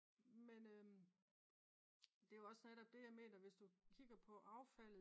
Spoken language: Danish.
men det er jo også netop det jeg mener hvis du kigger på affald